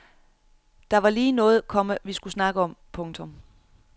Der var lige noget, komma vi skulle snakke om. punktum